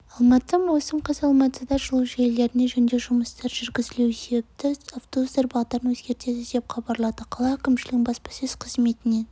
алматы маусым қаз алматыда жылу желілеріне жөндеу жұмыстары жүргізілуі себепті автобустар бағдарын өзгертеді деп хабарлады қала әкімшілігінің баспасөз қызметінен